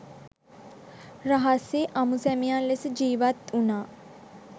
රහසේ අඹුසැමියන් ලෙස ජීවත් වුණා